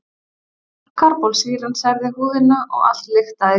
Karbólsýran særði húðina og allt lyktaði.